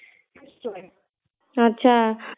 ଆଚ୍ଛା